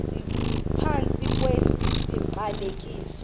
phantsi kwesi siqalekiso